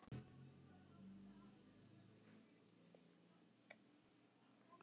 Hvaða lið koma á óvart?